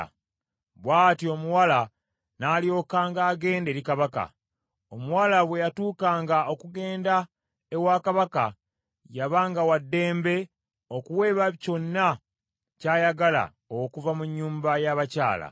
Bw’atyo omuwala n’alyokanga agenda eri Kabaka. Omuwala bwe yatuukanga okugenda ewa Kabaka yabanga wa ddembe okuweebwa kyonna ky’ayagala okuva mu nnyumba y’abakyala.